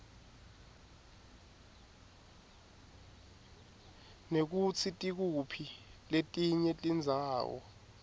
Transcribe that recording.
nekutsi tikuphi letinye tindzawo